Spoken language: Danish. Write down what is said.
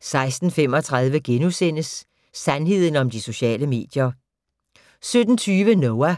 16:35: Sandheden om de sociale medier * 17:20: Noah